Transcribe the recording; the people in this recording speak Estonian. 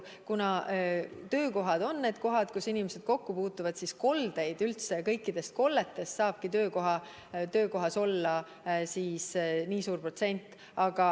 Kuna töökohad on need kohad, kus inimesed kokku puutuvad, siis saabki töökohas olla kõikidest kolletest nii suur protsent.